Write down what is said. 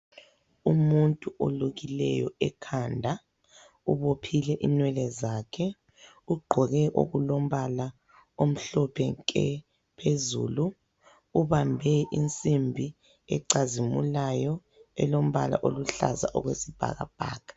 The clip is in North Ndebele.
Umuntu olukileyo ekhanda ubophile inwele zakhe, ugqoke okulombala omhlophe nke phezulu, ubambe insimbi ecazimulayo elombala oluhlaza okwesibhakabhaka.